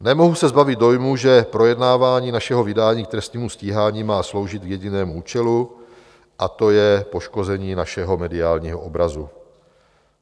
Nemohu se zbavit dojmu, že projednávání našeho vydání k trestnímu stíhání má sloužit k jedinému účelu, a to je poškození našeho mediálního obrazu.